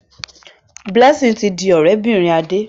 Blessing yí dì òré bìrìn Ade.